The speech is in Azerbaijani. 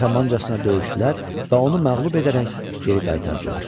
Qəhrəmancasına döyüşdülər və onu məğlub edərək geri qaytardılar.